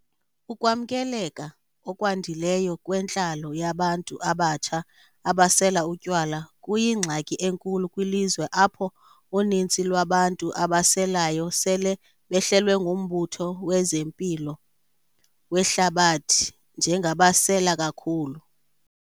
Ukwamkeleka okwandileyo kwentlalo yabantu abatsha abasela utywala kuyingxaki enkulu kwilizwe apho unintsi lwabantu abaselayo sele behlelwe nguMbutho wezeMpilo weHlabathi njengabasela kakhulu.